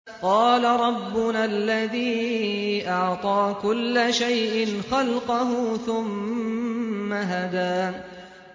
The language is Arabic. قَالَ رَبُّنَا الَّذِي أَعْطَىٰ كُلَّ شَيْءٍ خَلْقَهُ ثُمَّ هَدَىٰ